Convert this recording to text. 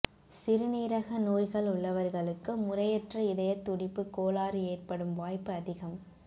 சிறுநீரக நோய்கள் உள்ளவர்களுக்கு முறையற்ற இதயத்துடிப்பு கோளாறு ஏற்படும் வாய்ப்பு அதிகம்